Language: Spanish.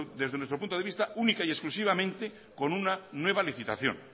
desde nuestro punto de vista única y exclusivamente con una nueva licitación